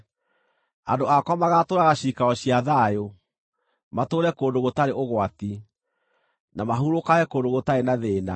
Andũ akwa magaatũũraga ciikaro cia thayũ, matũũre kũndũ gũtarĩ ũgwati, na mahurũkage kũndũ gũtarĩ na thĩĩna.